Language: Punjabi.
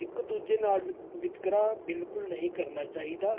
ਇਕ ਦੂਜੇ ਨਾਲ ਵਿਤਕਰਾ ਬਿਲਕੁਲ ਨਹੀਂ ਕਰਨਾ ਚਾਹੀਦਾ।